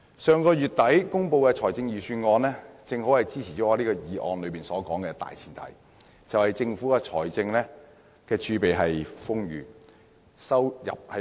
上月底公布的財政預算案也跟本議案的大前提吻合，就是政府的財政儲備豐裕，收入穩健。